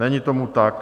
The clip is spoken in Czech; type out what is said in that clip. Není tomu tak.